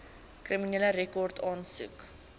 kriminele rekord aansoek